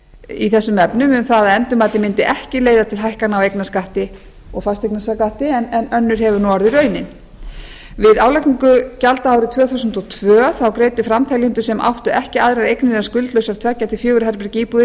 í þessum efnum um það að endurmatið mundi ekki leiða til hækkana á eignarskatti og fasteignaskatti en önnur hefur nú orðið raunin við álagningu gjalda árið tvö þúsund og tvö greiddu framteljendur sem áttu ekki aðrar eignir en skuldlausar tveggja til fjögurra herbergja íbúðir eignarskatt